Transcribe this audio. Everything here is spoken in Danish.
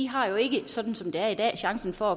har jo ikke sådan som det er i dag chancen for at